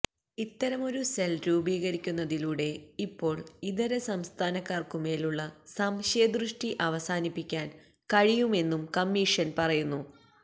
ഇത്തരമൊരു സെൽ രൂപീകരിക്കുന്നതിലൂടെ ഇപ്പോൾ ഇതരസംസ്ഥാനക്കാർക്കുമേൽ ഉള്ള സംശയദൃഷ്ടി അവസാനിപ്പിക്കാൻ കഴിയുമെന്നും കമ്മീഷൻ പറയുന്നു